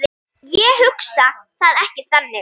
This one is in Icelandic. Ég hugsa það ekki þannig.